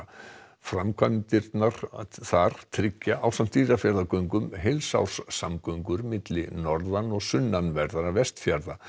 framkvæmdirnar þar tryggja ásamt Dýrafjarðargöngum heilsárssamgöngur milli norðan og sunnanverðra Vestfjarða